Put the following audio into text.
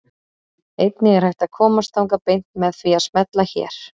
einnig er hægt að komast þangað beint með því að smella hér